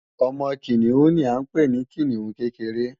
Ọmọ Kìnìún ni à ń pè ní Kìnìún kékeré